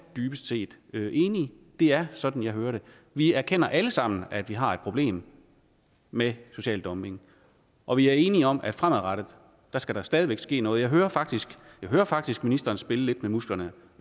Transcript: dybest set enige det er sådan jeg hører det vi erkender alle sammen at vi har et problem med social dumping og vi er enige om at fremadrettet skal der stadig væk ske noget jeg hører faktisk hører faktisk ministeren spille lidt med musklerne